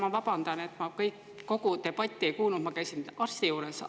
Ma vabandan, et ma kogu debatti ei kuulnud, käisin arsti juures.